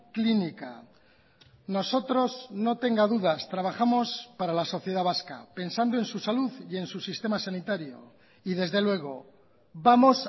clínica nosotros no tenga dudas trabajamos para la sociedad vasca pensando en su salud y en su sistema sanitario y desde luego vamos